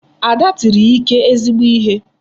Ada tiri Ike ezigbo ihe.